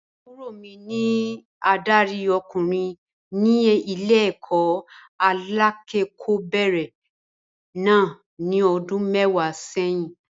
Àbúrò mi ní adarí ọkùnrin ní ilé-ẹ̀kọ́ alẹ́kọ̀ọ́bẹ̀rẹ̀ náà ní ọdún mẹ́wàá sẹ́yìn.